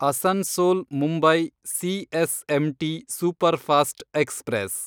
Asansol Mumbai CSMT superfast express